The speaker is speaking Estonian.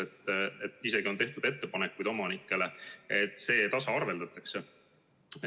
Omanikele on isegi tehtud ettepanekuid, et see tasaarveldatakse.